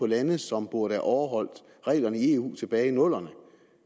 lande som burde have overholdt reglerne i eu tilbage i nullerne